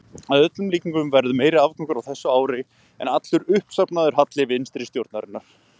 Að öllum líkindum verður meiri afgangur á þessu ári en allur uppsafnaður halli vinstri stjórnarinnar.